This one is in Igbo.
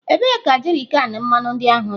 Ebee ka jerrykan mmanụ ndị ahụ dị?